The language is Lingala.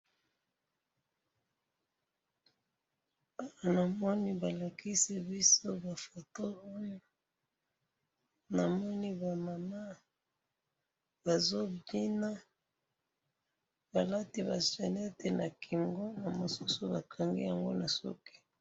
Namoni balakisi biso ba photo oyo na moni ba mamans oyo bazo bina, na moni balati yango na kingo, bamususu bakangi yango na suki